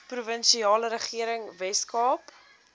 provinsiale regering weskaap